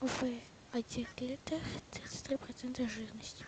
в один литр тридцать три процента жирности